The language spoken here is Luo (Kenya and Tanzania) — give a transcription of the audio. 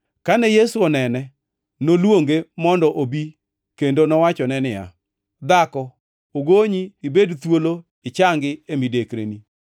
Kane Yesu onene, noluonge mondo obi kendo nowachone niya, “Dhako ogonyi ibed thuolo ichangi e midekreni.”